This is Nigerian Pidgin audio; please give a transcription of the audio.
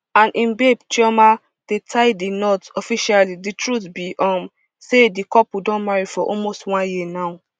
and im babe chioma dey tie di knot officially di truth be um say di couple don marry for almost one year now